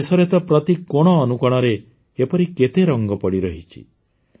ଆମ ଦେଶରେ ତ ପ୍ରତି କୋଣ ଅନୁକୋଣରେ ଏପରି କେତେ ରଙ୍ଗ ପଡ଼ିରହିଛି